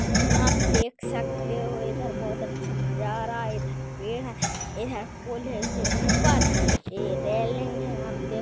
यहा आप देख सकते हो इधर बहोत अछा नज़ारा है इधर पेड़ है इधर पूल है उसके उपर ये रेलिंग है आप देख--